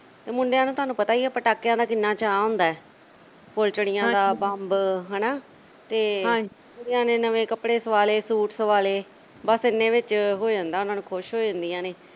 ਤੇ ਮੁੰਡਿਆਂ ਨੂੰ ਤੁਹਾਨੂੰ ਪਤਾ ਹੀ ਐ ਪਟਾਕਿਆਂ ਦਾ ਕਿੰਨਾ ਚਾਅ ਹੁੰਦੈ ਫੁੱਲਝੜੀਆਂ ਦਾ ਬੰਬ ਹਨਾ, ਹਾਂਜੀ ਤੇ ਕੁੜੀਆਂ ਨੇ ਨਵੇਂ ਕੱਪੜੇ ਸਵਾ ਲਏ ਸੂਟ ਸਵਾ ਲਏ ਬੱਸ ਏਨੇ ਵਿੱਚ ਹੋ ਜਾਂਦੈ ਉਨ੍ਹਾਂ ਨੂੰ ਖੁਸ਼ ਹੋ ਜਾਂਦੀਆਂ ਨੇ